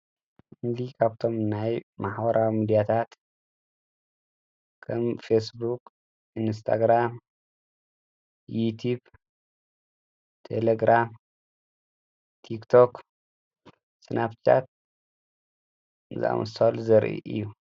እንዲ ኻብቶም ናይ መኅዋራ ሙዲያታት ከም ፌስቡቅ እንስተግራም ይቲብ ተለግራም ቲክቶኽ ስናብጫት ሙል ዘርኢ እዩ።